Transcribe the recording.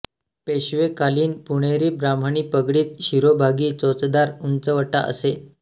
पेशवेकालीन पुणेरी ब्राह्मणी पगडीत शिरोभागी चोचदार उंचवटा असे